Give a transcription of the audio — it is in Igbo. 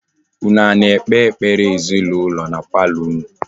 Unu a na-ekpe ekpere ezinụlọ na palọ unu?